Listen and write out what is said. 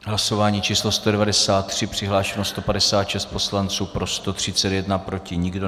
Hlasování číslo 193: přihlášeno 156 poslanců, pro 131, proti nikdo.